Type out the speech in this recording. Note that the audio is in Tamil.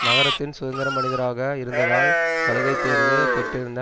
நகரத்தின் சுதந்தரமனிதராக இருந்ததால் சலுகைதேர்வு பெற்றிருந்த